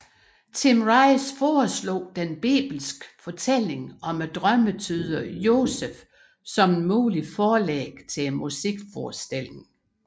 Tim Rice foreslog den bibelske fortælling om drømmetyderen Josef som et muligt forlæg til musikforestillingen